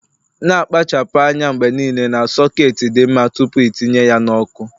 Na -akpachapụ anya mgbe niile na soketi dị mma tupu itinye ya n' ọkụ